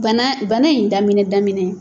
Bana bana in daminɛ daminɛ